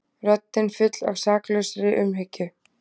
Röddin full af saklausri umhyggju.